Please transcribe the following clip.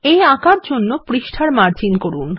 এই আঁকার জন্য পৃষ্ঠার মার্জিন করুন